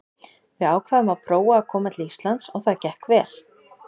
Við ákváðum að prófa að koma til Íslands og það gekk vel.